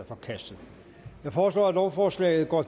forkastet jeg foreslår at lovforslaget går